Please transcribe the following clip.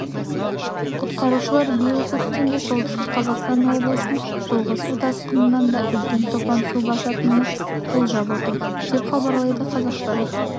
құтқарушылар биыл көктемде солтүстік қазақстан облысын жылғы су тасқынынан да үлкен топан су басатынын болжап отыр деп хабарлайды қазақпарат